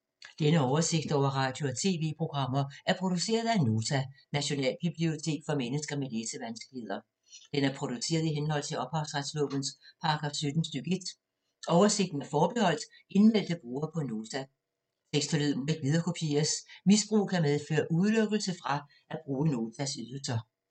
Denne oversigt over radio og TV-programmer er produceret af Nota, Nationalbibliotek for mennesker med læsevanskeligheder. Den er produceret i henhold til ophavsretslovens paragraf 17 stk. 1. Oversigten er forbeholdt indmeldte brugere på Nota. Tekst og lyd må ikke viderekopieres. Misbrug kan medføre udelukkelse fra at bruge Notas ydelser.